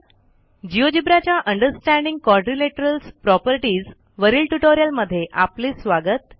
GeoGebra च्या understanding quadrilaterals properties वरील ट्युटोरियलमध्ये आपले स्वागत